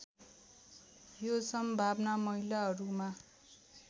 यो सम्भावना महिलाहरूमा